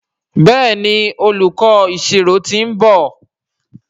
Béèni olùkó ìṣirò t'in nbọ.